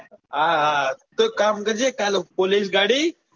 હા હા તો એક કામ કરજે કાલ પોલીસ ગાડી,